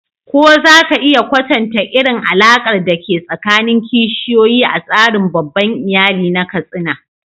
Ko za ka iya kwatanta irin alaƙar da ke tsakanin kishiyoyi a tsarin babban iyali na Katsina?